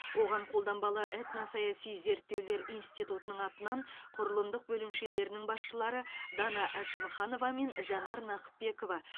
оған қолданбалы этносаяси зерттеулер институтының атынан құрылымдық бөлімшелерінің басшылары дана әшімханова мен жанар нақыпбекова